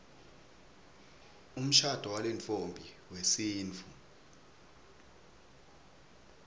umshado walentfombi wesintfu